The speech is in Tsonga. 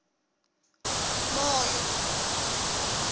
moyo